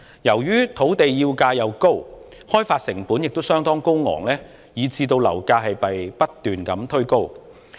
由於土地叫價高，開發成本亦相當高昂，以致樓價不斷被推高。